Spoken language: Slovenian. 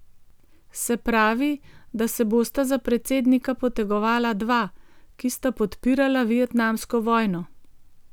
Se pravi, da se bosta za predsednika potegovala dva, ki sta podpirala vietnamsko vojno.